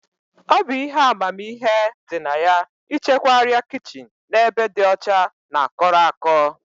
Ọ bụ ihe amamihe dị na ya ịchekwa arịa kichin n'ebe dị ọcha na kọrọ akọ